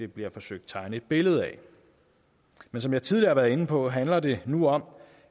bliver forsøgt tegnet et billede af men som jeg tidligere har været inde på handler det nu om